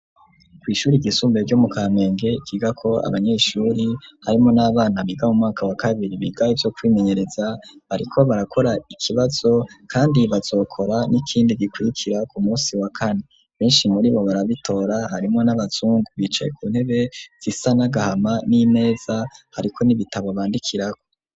Kw' ishuri ryisumbe ryo mu kamenge ,ryiga ko abanyeshuri harimwo n'abana biga mu mwaka wa kabiri ,biga vyo kwimenyereza bariko barakora ikibazo, kandi bazokora n'ikindi gikwirikira ku munsi wa kane, benshi muribo barabitora harimwo n'abazungu bicaye ku ntebe zisa n’agahama, n'imeza hariko n'ibitabo bandikiraho